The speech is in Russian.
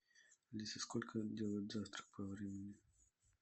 алиса сколько делают завтрак по времени